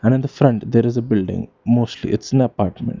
And different there is a building mostly its in a apartment.